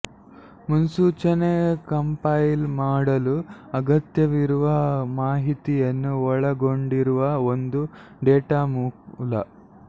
ಮುನ್ಸೂಚನೆ ಕಂಪೈಲ್ ಮಾಡಲು ಅಗತ್ಯವಿರುವ ಮಾಹಿತಿಯನ್ನು ಒಳಗೊಂಡಿರುವ ಒಂದು ಡೇಟಾ ಮೂಲ